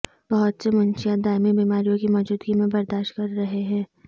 بہت سے منشیات دائمی بیماریوں کی موجودگی میں برداشت کر رہے ہیں